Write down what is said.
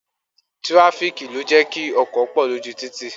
Tirafiki ló jẹ́ kí ọkọ̀ pọ lójú títì